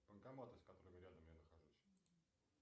банкоматы с которыми рядом я нахожусь